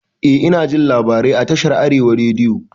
Eh inajin labarai a tashar arewa rediyo